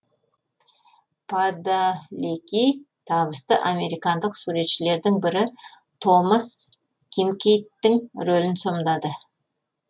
падалеки табысты американдық суретшілердің бірі томас кинкейдтің рөлін сомдады